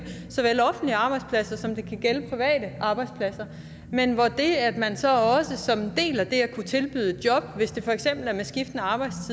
såvel offentlige arbejdspladser som det kan gælde private arbejdspladser men hvor der når man så også som en del af det at kunne tilbyde et job hvis det for eksempel er en